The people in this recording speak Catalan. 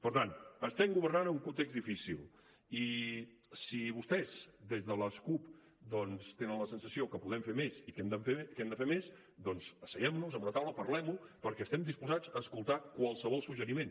per tant estem governant en un context difícil i si vostès des de la cup tenen la sensació que podem fer més i que hem de fer més doncs asseguem nos en una taula parlem ho perquè estem disposats a escoltar qualsevol suggeriment